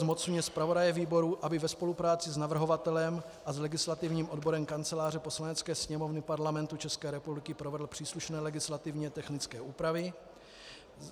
Zmocňuje zpravodaje výboru, aby ve spolupráci s navrhovatelem a s legislativním odborem Kanceláře Poslanecké sněmovny Parlamentu České republiky provedl příslušné legislativně technické úpravy.